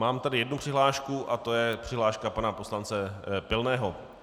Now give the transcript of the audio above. Mám tady jednu přihlášku a to je přihláška pana poslance Pilného.